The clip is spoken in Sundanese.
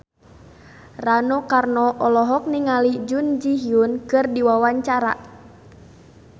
Rano Karno olohok ningali Jun Ji Hyun keur diwawancara